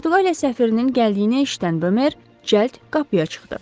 Portuqaliya səfirinin gəldiyini eşidən Bomer cəld qapıya çıxdı.